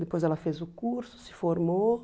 Depois ela fez o curso, se formou.